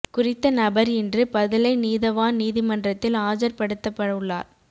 குறித்த நபர் இன்று பதுளை நீதவான் நீதிமன்றத்தில் ஆஜர் படுத்தப்படவுள்ளார்